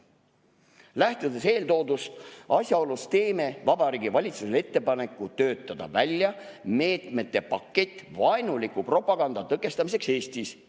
Lähtudes eeltoodud asjaolust, teeme Vabariigi Valitsusele ettepaneku töötada välja meetmete pakett vaenuliku propaganda tõkestamiseks Eestis.